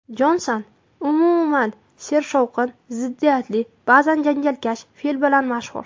Jonson umuman sershovqin, ziddiyatli, ba’zan janjalkash fe’li bilan mashhur.